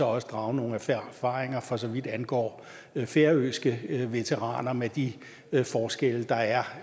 også drage nogle erfaringer for så vidt angår færøske veteraner med de forskelle der er